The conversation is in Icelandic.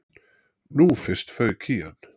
Nú fyrst fauk í hann.